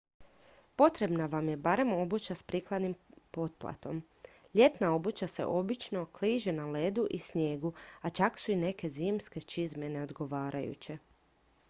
potrebna vam je barem obuća s prikladnim potplatom ljetna obuća se obično kliže na ledu i snijegu a čak su i neke zimske čizme neodgovarajuće